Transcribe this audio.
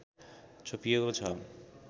छोपिएको छ